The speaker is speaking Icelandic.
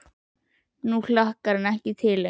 Nú hlakkar hann ekki lengur til.